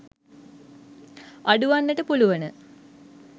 අඩු වන්නට පුළුවන.